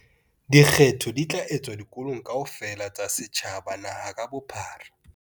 Dikgetho di tla etswa dikolong kaofela tsa setjhaba naha ka bophara.